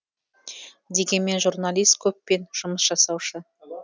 дегенмен журналист көппен жұмыс жасаушы